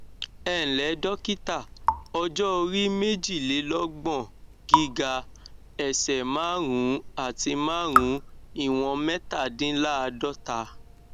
ẹǹlẹ dọkítà ọjọ orí méjìlélọgbọn gíga ẹsẹ márùnún àti márùnún ìwọnmẹtàdínláàádọta